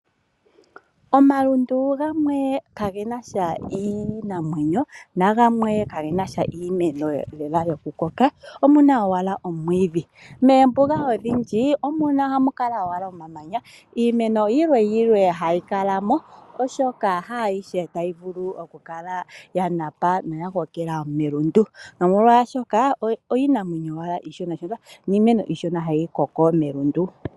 Omalundu gamwe kage na sha iinamwenyo nagamwe kage na sha iimeno lela yokukoka, omu na owala omwiidhi. Moombuga odhindji ohamu kala owala omamanya. Iimeno yimwe yimwe hayi kala mo, oshoka haa yihe tayi vulu okukala ya kokela melundu nomolwashoka iinamwenyo owala iishona niimeno iishona hayi koko melundu.